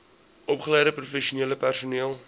opgeleide professionele personeel